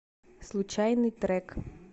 случайный трек